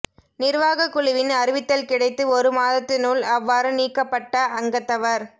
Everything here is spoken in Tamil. நிர்வாகக் குழுவின் அறிவித்தல் கிடைத்து ஒரு மாதத்தினுள் அவ்வாறு நீக்கப்பட்ட அங்கத்தவர்